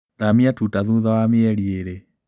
Thamia tuta thutha wa mĩeri ĩrĩ.